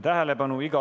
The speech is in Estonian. Tähelepanu!